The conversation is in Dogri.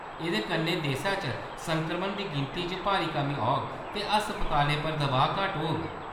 एह्‌‌‌दे कन्नै देसै च संक्रमन दी गिनती च भारी कमी औग ते अस्पतालें पर दबाऽ घट्ट होग।